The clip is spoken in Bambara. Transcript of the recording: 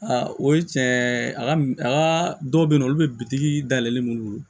o ye tiɲɛ a ka a ka dɔw bɛ yen nɔ olu bɛ bitigi dayɛlɛ minnu bolo